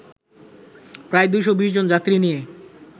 প্রায় ২২০ জন যাত্রী নিয়ে